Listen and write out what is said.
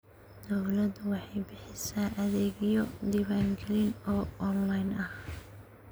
Dawladdu waxay bixisaa adeegyo diwaangelin oo onlayn ah.